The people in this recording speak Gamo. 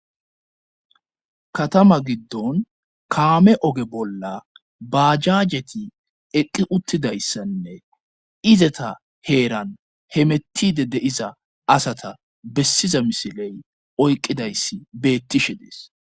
katama giddon kaame oge bolla baajaajeti eqqi uttidayssanne izeta heeran hemettide de7iza asata bessiza misiley oyqqidayssi beettishe dees